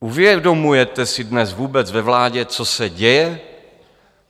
Uvědomujete si dnes vůbec ve vládě, co se děje?